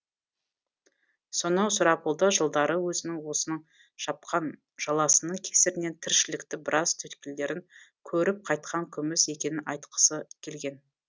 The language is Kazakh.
сонау сұрапылды жылдары өзінің осының жапқан жаласының кесірінен тіршіліктің біраз түйткілдерін көріп қайтқан күміс екенін айтқысы келген